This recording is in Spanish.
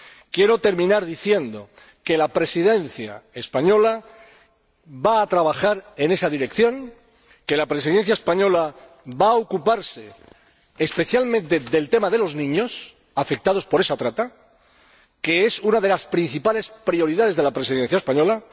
Quiero terminar diciendo que la Presidencia española va a trabajar en esa dirección, que va a ocuparse especialmente del tema de los niños afectados por esa trata, que es una de las principales prioridades de la Presidencia española.